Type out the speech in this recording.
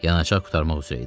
Yanacaq qurtarmaq üzrə idi.